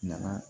Nana